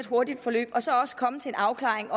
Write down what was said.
hurtigt forløb og så også komme til en afklaring